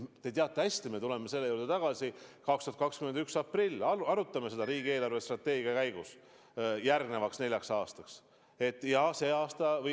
Te teate hästi, et me tuleme selle juurde tagasi 2021. aasta aprillis, kui me arutame seda riigi eelarvestrateegia käigus, pidades silmas järgmist nelja aastat.